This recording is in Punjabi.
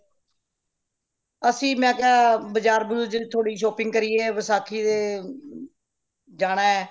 ਅਸੀਂ ਮੈਂ ਕਯਾ ਬਜ਼ਾਰ ਬਜ਼ੁਰ ਥੋੜੀ shopping ਕਰੀਏ ਵਸਾਖ਼ੀ ਤੇ ਜਾਣਾ ਹੈ